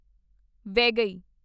Vaigai